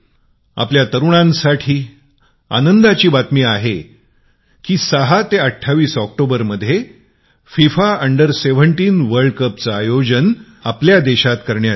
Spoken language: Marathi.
आपल्या तरुणांना आनंदाची बातमी आहे की ६ ते २८ ऑक्टोबरमध्ये 17 वर्षाखालील फिफा जागतिक कपचे आयोजन करण्यात येत आहे